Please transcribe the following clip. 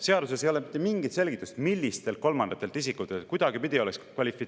Seaduses ei ole mitte mingit selgitust, millistelt kolmandatelt isikutelt.